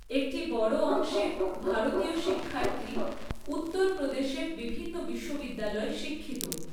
একটি বড় অংশের ভারতীয় শিক্ষার্থী উত্তর প্রদেশের বিভিন্ন বিশ্ববিদ্যালয়ে শিক্ষিত।